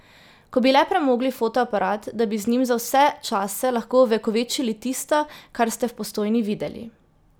Ko bi le premogli fotoaparat, da bi z njim za vse čase lahko ovekovečili tisto, kar ste v Postojni videli.